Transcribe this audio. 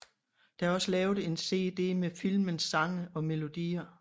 Der er også lavet en CD med filmens sange og melodier